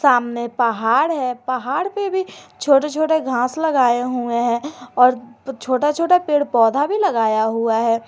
सामने पहाड़ है पहाड़ पे भी छोटे छोटे घास लगाए हुए हैं और छोटा छोटा पेड़ पौधा भी लगाया हुआ है।